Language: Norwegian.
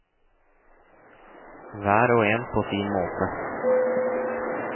Hver og en på sin måte.